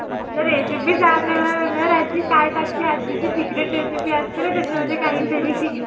आता रेसिपी सांगायला म्हणल्यावर आज्जी काय टाकते आज्जीची सिक्रेट रेसीपी असं तर त्याच्यामध्ये काही तरी